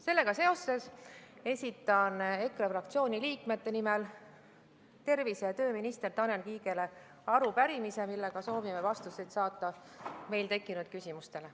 Sellega seoses esitan EKRE fraktsiooni liikmete nimel tervise- ja tööminister Tanel Kiigele arupärimise, millega soovime saada vastuseid meil tekkinud küsimustele.